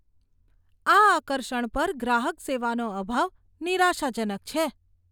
આ આકર્ષણ પર ગ્રાહક સેવાનો અભાવ નિરાશાજનક છે.